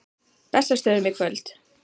Bessastöðum í kvöld!